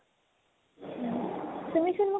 তুমিচোন মোক